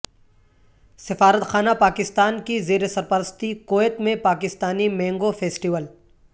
سفارتخانہ پاکستان کی زیرسرپرستی کویت میں پاکستانی مینگو فیسٹول